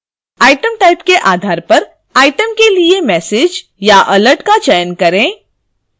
item type के आधार पर item के लिए message या alert का चयन करें